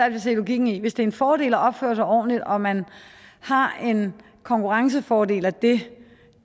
at se logikken i hvis det er en fordel at opføre sig ordentligt og man har en konkurrencefordel af det